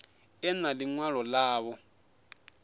ḓe na ḽi ṅwalo ḽavho